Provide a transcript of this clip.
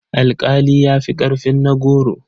Alƙali ya fi ƙarfin na goro.